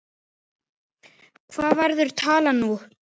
Hver verður talan nú?